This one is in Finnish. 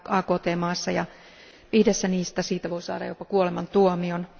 AKT maassa, ja viidessä niistä siitä voi saada jopa kuolemantuomion.